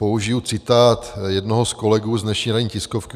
Použiji citát jednoho z kolegů z dnešní ranní tiskovky.